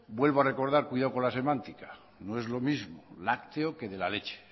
vuelvo a recordar cuidado con la semántica no es lo mismo lácteo que de la leche